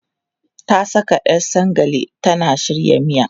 Ta saka 'yar sagale tana shirya miya.